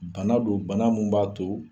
Bana don bana min b'a to